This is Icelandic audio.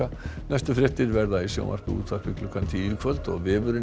næstu fréttir verða í sjónvarpi og útvarpi klukkan tíu í kvöld og vefurinn